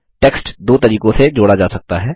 text दो तरीकों से जोड़ा जा सकता है